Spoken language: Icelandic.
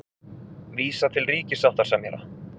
Vísa til ríkissáttasemjara